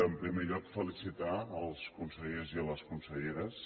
en primer lloc felicitar els consellers i les conselleres